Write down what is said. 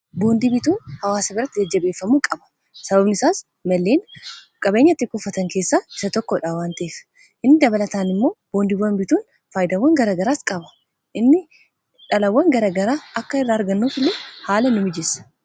boondi bituun hawaasa birratti jajjabeeffamuu qaba sababani isaas malleen qabeenyatti kufatan keessaa isa tokkodha wanteef inni dabalataan immoo boondibwan bituun faayidawwan garagaraas qaba inni dhalawwan garagaraa akka irraa argannuuf illee haala nu mijeessa